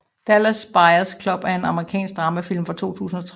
Dallas Buyers Club er en amerikansk dramafilm fra 2013